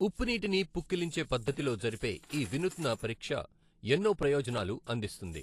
ఉప్పునీటిని పుక్కిలించే పద్ధతిలో జరిపే ఈ వినూత్న పరీక్షఎన్నో ప్రయోజనాలు అందిస్తుంది.